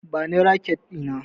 Bani raket Dina!